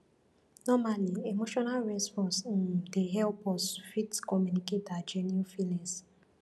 normally emotional response um dey help us fit communicate our genuine feelings